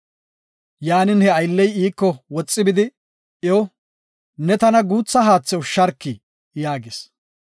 Yaanin, he aylley iiko woxi bidi iyo, “Ne tana guutha haathe ushsharki” yaagis.